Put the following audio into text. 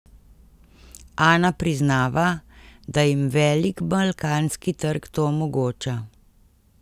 Ana priznava, da jim velik balkanski trg to omogoča.